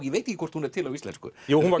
ég veit ekki hvort hún er til á íslensku jú hún var